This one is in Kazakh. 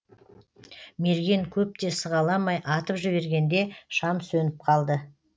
мерген көп те сығаламай атып жібергенде шам сөніп қалды